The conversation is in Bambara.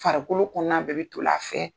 Farikolo kɔnɔna bɛɛ bɛ toli a fɛ.